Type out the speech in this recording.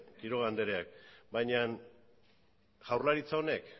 quiroga andreak baina jaurlaritza honek